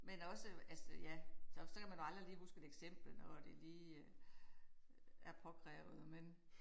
Men også altså ja så så kan man aldrig lige huske et eksempel når det lige er påkrævet men